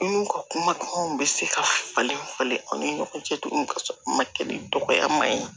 N'u ka kuma bɛ se ka falen falen aw ni ɲɔgɔn cɛ togo min ka sɔrɔ ma kɛ ni dɔgɔyama ye